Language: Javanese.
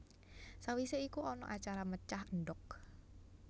Sawise iku ana acara mecah endhok